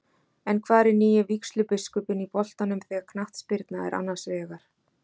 En hvar er nýi vígslubiskupinn í boltanum þegar knattspyrna er annars vegar?